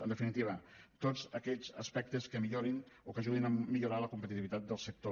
en definitiva tots aquells aspectes que millorin o que ajudin a millorar la competitivitat del sector